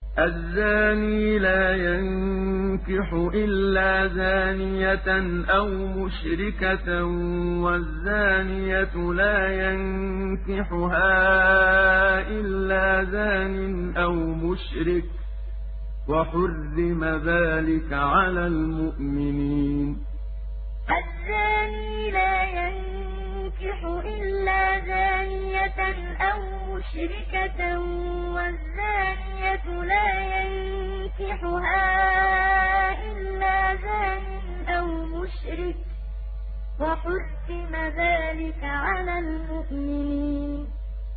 الزَّانِي لَا يَنكِحُ إِلَّا زَانِيَةً أَوْ مُشْرِكَةً وَالزَّانِيَةُ لَا يَنكِحُهَا إِلَّا زَانٍ أَوْ مُشْرِكٌ ۚ وَحُرِّمَ ذَٰلِكَ عَلَى الْمُؤْمِنِينَ الزَّانِي لَا يَنكِحُ إِلَّا زَانِيَةً أَوْ مُشْرِكَةً وَالزَّانِيَةُ لَا يَنكِحُهَا إِلَّا زَانٍ أَوْ مُشْرِكٌ ۚ وَحُرِّمَ ذَٰلِكَ عَلَى الْمُؤْمِنِينَ